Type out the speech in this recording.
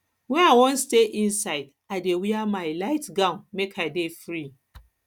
wen i wan stay inside i dey wear my light gown make i dey free